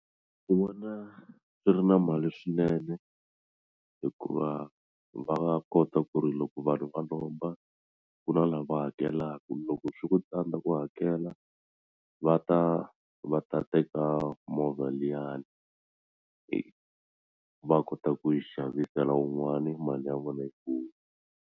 Ni vona swi ri na mali swinene hikuva va nga kota ku ri loko vanhu va lomba ku na lava hakelaka loko swi ku tsandza ku hakela va ta va ta teka movha liyani va kota ku yi xavisela wun'wani mali ya vona yi vuya.